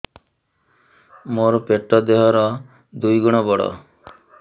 ମୋର ପେଟ ଦେହ ର ଦୁଇ ଗୁଣ ବଡ